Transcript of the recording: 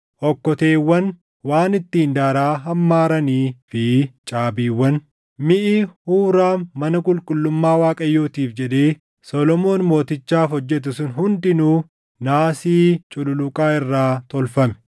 okkoteewwan, waan ittiin daaraa hammaaranii fi caabiiwwan. Miʼi Huuraam mana qulqullummaa Waaqayyootiif jedhee Solomoon mootichaaf hojjete sun hundinuu naasii cululuqaa irraa tolfame.